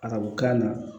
A ka bɔ kan na